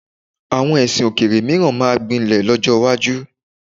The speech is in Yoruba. Àwọn ẹ̀sìn òkèèrè mìíràn máa gbilẹ̀ lọ́jọ́ iwájú.